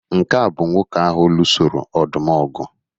Nke a bụ nwoke ahụ lụsoro ọdụm ọgụ